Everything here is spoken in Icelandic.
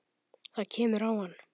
Það kemur á hann.